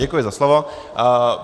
Děkuji za slovo.